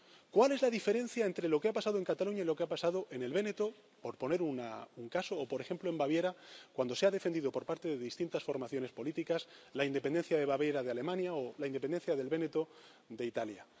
¿Cuál es la diferencia entre lo que ha pasado en Cataluña y lo que ha pasado en el Véneto, por poner un caso, o por ejemplo en Baviera, cuando se ha defendido por parte de distintas formaciones políticas la independencia de Baviera de Alemania o la independencia del Véneto de Italia?